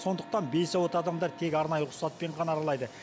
сондықтан бейсуат адамдар тек арнайы рұқсатпен ғана аралайды